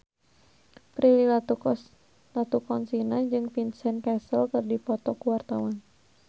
Prilly Latuconsina jeung Vincent Cassel keur dipoto ku wartawan